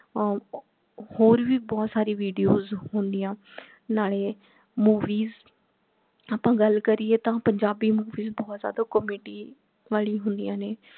ਹਮ ਹੋਰ ਭੀ ਬਹੁਤ ਸਾਰੀ videos ਹੁੰਦੀਆਂ ਨਾਲੇ movies ਆਪਾ ਗੱਲ ਕਰੀਏ ਤਾਂ ਪੰਜਾਬੀ movies ਬਹੁਤ ਜ਼ਿਆਦਾ comedy ਵਾਲੀ ਹੁੰਦੀਆਂ ਨੇ